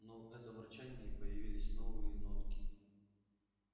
но в этом рычании появились новые нотки